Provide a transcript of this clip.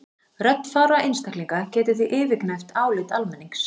Rödd fárra einstaklinga getur því yfirgnæft álit almennings.